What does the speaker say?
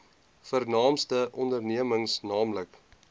vernaamste ondernemings nl